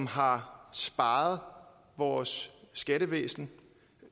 har sparet vores skattevæsen